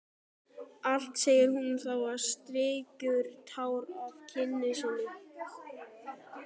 Allt, segir hún þá og strýkur tár af kinn sinni.